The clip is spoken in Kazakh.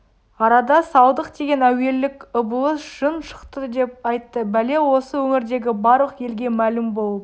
арада салдық деген әуейлік ыбылыс жын шықты деп айтты бәле осы өңірдегі барлық елге мәлім болып